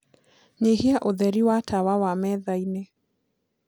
nyĩhĩa ũtherĩ wa tawa wa methaĩnĩ